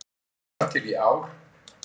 Þar til í ár.